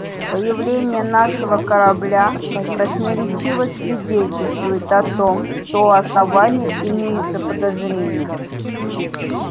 появление нашего корабля красноречиво свидетельствует о том что у основания имеются подозрения